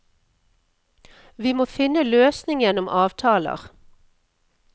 Vi må finne løsning gjennom avtaler.